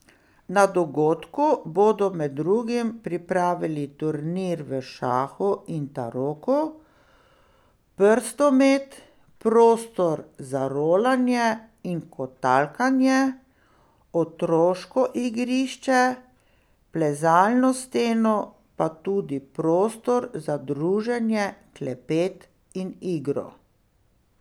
Na dogodku bodo med drugim pripravili turnir v šahu in taroku, prstomet, prostor za rolanje in kotalkanje, otroško igrišče, plezalno steno, pa tudi prostor za druženje, klepet in igro.